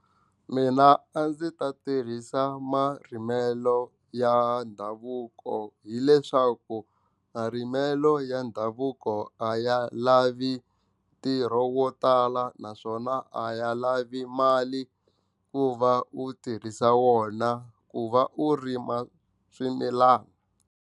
Mina a ndzi ta tirhisa marimelo ya ndhavuko hileswaku marimelo ya ndhavuko a ya lavi ntirho wo tala naswona a ya lavi mali ku va u tirhisa wona ku va u rima swimilana.